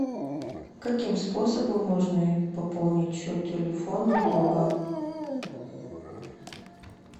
каким способом можно пополнить счет телефона друга